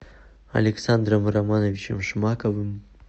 александром романовичем шмаковым